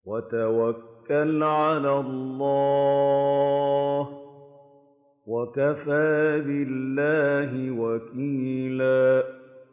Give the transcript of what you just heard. وَتَوَكَّلْ عَلَى اللَّهِ ۚ وَكَفَىٰ بِاللَّهِ وَكِيلًا